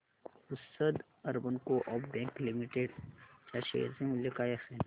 Pusad urban coop bank limited च्या share चे मूल्य काय असेल